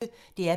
DR P1